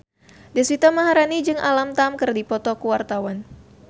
Deswita Maharani jeung Alam Tam keur dipoto ku wartawan